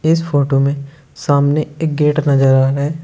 इस फोटो में सामने एक गेट नजर आ रहा है।